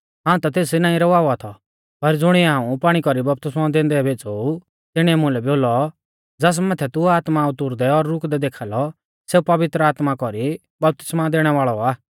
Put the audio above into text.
हाऊं ता तेस नाईं रवावा थौ पर ज़ुणिऐ हाऊं पाणी कौरी बपतिस्मौ दैंदै भेज़ौ ऊ तिणीऐ मुलै बोलौ ज़ास माथै तू आत्मा उतुरदै और रुकदै देखा लौ सेऊ पवित्र आत्मा कौरी वपतिस्मा दैणै वाल़ौ आ